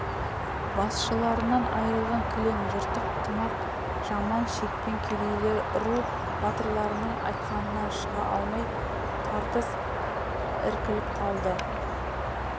басшыларынан айырылған кілең жыртық тымақ жаман шекпен кедейлер ру батырларының айтқанынан шыға алмай тартыс іркіліп қалды